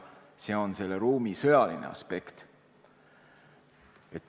See on selle ruumi sõjaline aspekt.